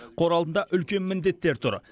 қор алдында үлкен міндеттер тұр